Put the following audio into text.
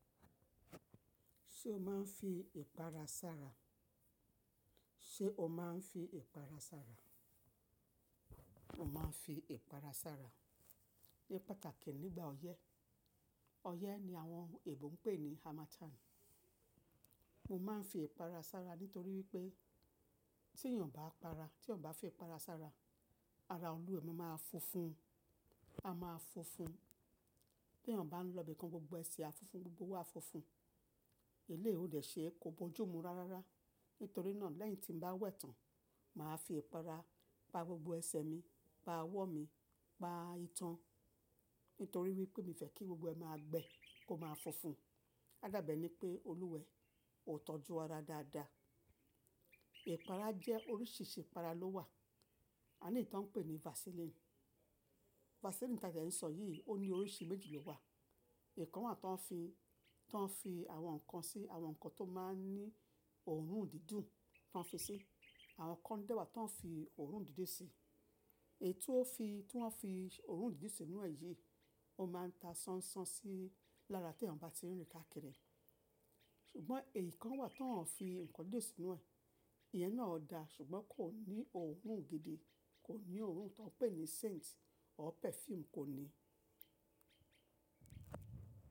Ṣé o máa ń fi ìpara sára? Sé o máa ń fi ìpara sára? Mo máa ń fi ìpara sára ní pàtàkì nígbà ọyẹ́. Ọyẹ́ ni àwọn Èbò ń pè ní harmattan. Mo máa ń fi ìpara sára nítorí wípé tí èeyàn obá para, tí eeyan bá fi ìpara sára, ara olúwẹ́ máa funfun. A máa funfun. Bí èeyàn bá ń lọ ibìkan, gbogbo ẹsẹ̀ á funfun, gbogbo owo á funfun. Elé ó lè ṣe é kó bójú mu rárára. Nítorí náà lẹ́yìn tí n bá wẹ̀ tán, màá fi ìpara pa gbogbo ẹsẹ̀ mi, pa ọwọ́ mi, pa itan. Nítorí wípé mi fẹ́ kí gbogbo ẹ máa gbẹ kó máa funfun. Á dàbẹ̀ ni pé olúwẹ̀ ó tọ́jú ara dáadáa. Ìpara jẹ́ oríṣìíríṣìí ìpara ló wà. Àní tí ọ́n ń pè ní vasiline. Vaseline tí a n dẹ́ ń sọ yìí ó ní oríṣi méjì ló wà. Ìkan wà tó ń fi, tó ń fi àwọn nǹkan sí, àwọn nǹkan tó máa ń ní òórùn dídùn tó ń fi sí. Àwọn kan dẹ́wàá tó ń fi òórùn dídun sí. Èyí tí ó fi, tí wọ́n fi òórùn dídun sì inú ẹ̀ yìí, ó máa ń ta sánsán sí lára tí ènìyàn bá ti rìn kákìrì. Ṣùgbọ́n èyí kan wà tó ń fi nǹkan didun sí inú ẹ̀. Ìyẹn náà da ṣùgbọ́n kò ní òórùn gidi, kò ní òórùn tó ń pè ní scent or perfume kò ní.